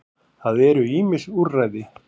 Það eru ýmis úrræði.